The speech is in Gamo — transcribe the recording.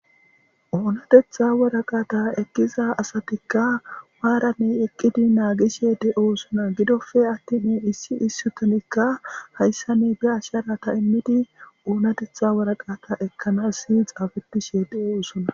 Uunatetha woraqaata ekkiza asatikka maarane eqqidi naagishe de7o usona gidofe attini issi issutonikka hayssa ne be asharata immidi uunatetha woraqaata ekkanas si xaafetishe de7o usona.